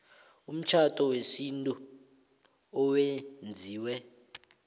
umtjhado wesintu owenziwe